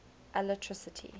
alatricity